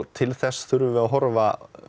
til þess þurfum við að horfa